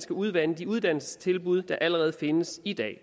skal udvande de uddannelsestilbud der allerede findes i dag